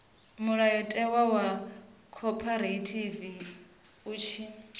mulayotewa wa khophorethivi u tshi